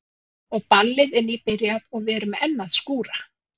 Og ballið er nýbyrjað og við erum enn að skúra.